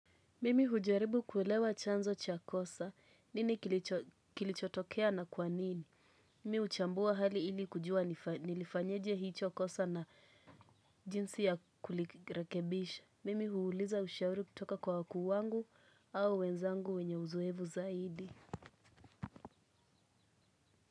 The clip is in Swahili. Mimi hujaribu kuwelewa chanzo cha kosa nini kilichotokea na kwanini. Mimi uchambua hali ili kujua nilifanyeje hicho chakosa na jinsi ya kulirekebisha. Mimi huuliza ushauri kutoka kwa wakuu wangu au wenzangu wenye uzoevu zaidi.